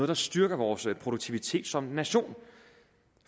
der styrker vores produktivitet som nation